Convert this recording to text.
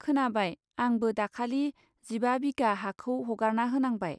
खोनाबाय, आं बो दाखालि जिबा बिघा हाखौ हगारना होनांबाय।